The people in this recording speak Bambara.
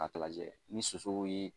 lajɛ ni sosow ye